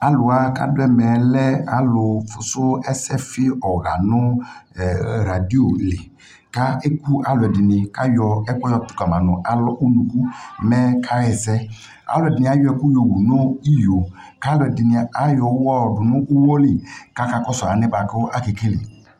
Alu wa kado ɛmɛ lɛ alu foso ɛsɛfe ɔha no ɛɛ raduo li ka eku ɛluɛde de ne ka ayɔ ɛkuɛ yɔ kama no alɔ, unuku mɛ kaha asɛƐluɛde ne iayɔ ɛku yowu no iyo ka ɛluɛde ne ayɔ uwɔ yɔdo mo uwɔ li kaka kɔso anɛ boa kake kele